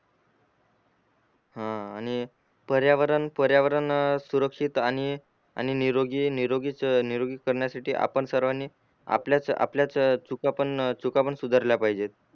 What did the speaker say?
हा आनी पर्यावरण पर्यावरण अ सुरक्षीत आणि निरोगी निरोगीच निरोगी करण्यासठी आपण सर्वांनी आपल्याच आपल्याच चुका पण चुका पण सुधरल्या पाहिजेत